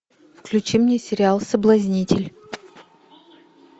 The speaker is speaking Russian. включи мне сериал соблазнитель